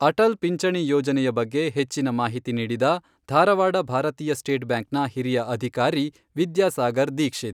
ಅಟಲ್ ಪಿಂಚಣಿ ಯೋಜನೆಯ ಬಗ್ಗೆ ಹೆಚ್ಚಿನ ಮಾಹಿತಿ ನೀಡಿದ ಧಾರವಾಡ ಭಾರತೀಯ ಸ್ಟೇಟ್ ಬ್ಯಾಂಕ್ನ ಹಿರಿಯ ಅಧಿಕಾರಿ ವಿದ್ಯಾಸಾಗರ್ ದಿಕ್ಷಿತ್.